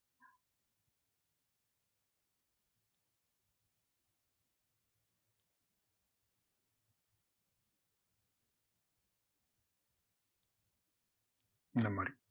அந்த மாதிரி